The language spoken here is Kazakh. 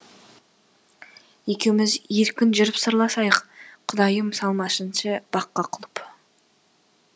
екеуміз еркін жүріп сырласайық құдайым салмасыншы баққа құлып